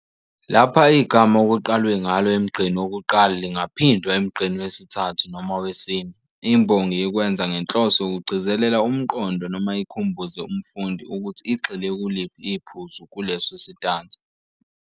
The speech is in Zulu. Lapha igama okuqalwe ngalo emgqeni wokuqala lingaphindwa emgqeni wesithathu noma wesine. Imbongi ikwenza ngenhloso yokugcizelela umqondo noma ikhumbuze umfundi ukuthi igxile kuliphi iphuzu kuleso sitanza.